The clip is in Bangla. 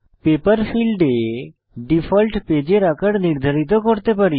পেপার ফীল্ডে ডিফল্ট পেজের আকার নির্ধারিত করতে পারি